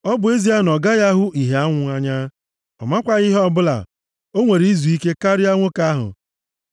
Ọ bụ ezie na ọ gaghị ahụ ihe anwụ anya, ọ makwaghị ihe ọbụla, o nwere izuike karịa nwoke ahụ.